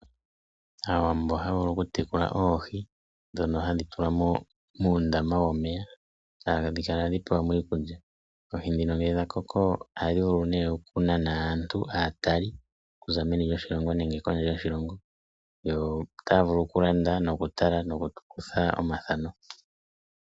Aawambo ohaya vulu okutekula oohi ndhono hadhi tulwa muundama womeya etadhi kala tadhi pewa iikulya. Oohi ndhino ngele dhakoko ohadhi vulu okunana aatalelipo okuza meni nenge kondje yoshilongo otaya vulu okulanda noshowo oku kutha omathano.